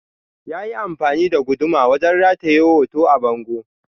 Na yi amfani da guduma wajen rataye hoto a bango.